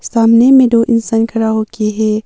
सामने में दो इंसान खड़ा होके है।